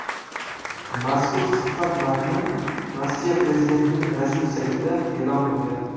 Mazkur suhbat matni Rossiya prezidentining rasmiy saytida e’lon qilingan .